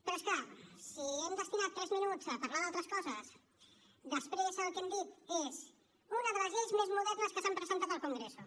però és clar si hem destinat tres minuts a parlar d’altres coses després el que hem dit és una de les lleis més modernes que s’han presentat al congreso